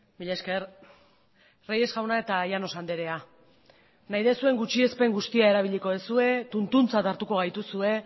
mila esker reyes jauna eta llanos andrea nahi duzuen gutxiespen guztia erabiliko duzue tuntuntzat hartuko gaituzue